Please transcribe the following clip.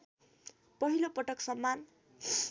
पहिलोपटक सम्मान